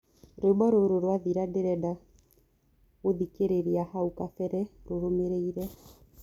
rwĩmbo rũrũ rwathira ndĩrenda gũthĩkĩrĩrĩa hau kabere rurũmiriire